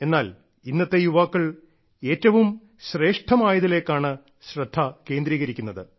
എന്നാൽ ഇന്നത്തെ യുവാക്കൾ ഏറ്റവും ശ്രേഷ്ഠമായതിലേക്കാണ് ശ്രദ്ധ കേന്ദ്രീകരിക്കുന്നത്